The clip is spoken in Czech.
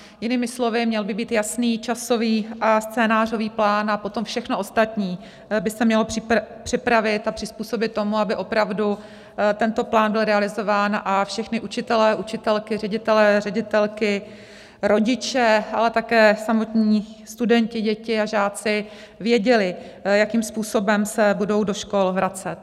Jinými slovy, měl by být jasný časový a scénářový plán a potom všechno ostatní by se mělo připravit a přizpůsobit tomu, aby opravdu tento plán byl realizován a všichni učitelé, učitelky, ředitelé, ředitelky, rodiče, ale také samotní studenti, děti a žáci věděli, jakým způsobem se budou do škol vracet.